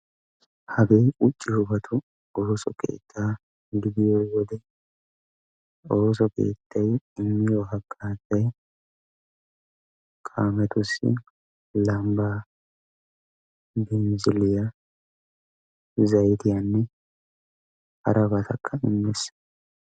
Hagee quucciyoobatu ooso keetta gidiyoo wode; ooso keettay immiyo hagazzay kaametussi :lambba, binzziliya, zayttiyaanne harabatakka immees.